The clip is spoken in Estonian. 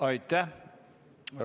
Aitäh!